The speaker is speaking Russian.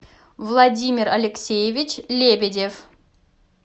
владимир алексеевич лебедев